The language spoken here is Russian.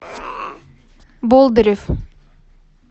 болдырев